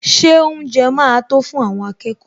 Ṣé oúnjẹ máa tó fún àwọn akẹ́kọ̀ọ́?